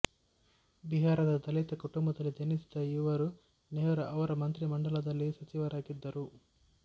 ಬಿಹಾರದ ದಲಿತ ಕುಟುಂಬದಲ್ಲಿ ಜನಿಸಿದ ಇವರು ನೆಹರು ಅವರ ಮಂತ್ರಿಮಂಡಲದಲ್ಲಿ ಸಚಿವರಾಗಿದ್ದರು